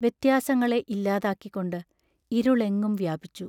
വ്യത്യാസങ്ങളെ ഇല്ലാതാക്കി കൊണ്ട് ഇരുളെങ്ങും വ്യാപിച്ചു.